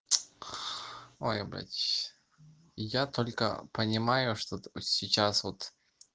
ой ибать я только понимаю что сейчас вот